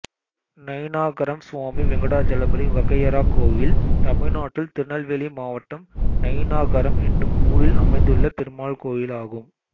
நயினாகரம் சுவாமி வெங்கடாசலபதி வகையறா கோயில் தமிழ்நாட்டில் திருநெல்வேலி மாவட்டம் நயினாகரம் என்னும் ஊரில் அமைந்துள்ள பெருமாள் கோயிலாகும்